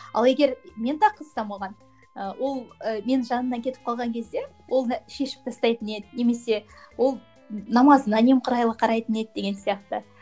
ал егер мен таққызсам оған ы ол ы менің жанымнан кетіп қалған кезде ол шешіп тастайтын еді немесе ол намазына немқұрайлы қарайтын еді деген сияқты